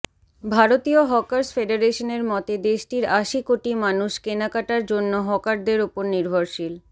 ভারতীয় হকার্স ফেডারেশনের মতে দেশটির আশি কোটি মানুষ কেনাকাটার জন্য হকারদের ওপর নির্ভরশীল